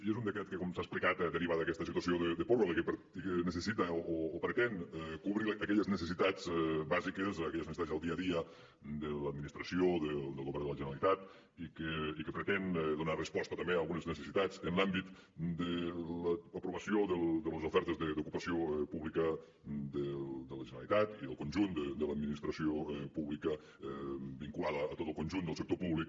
i és un decret que com s’ha explicat deriva d’aquesta situació de pròrroga i que necessita o pretén cobrir aquelles necessitats bàsiques aquelles necessitats del dia a dia de l’administració del govern de la generalitat i que pretén donar resposta també a algunes necessitats en l’àmbit de l’aprovació de les ofertes d’ocupació pública de la generalitat i del conjunt de l’administració pública vinculada a tot el conjunt del sector públic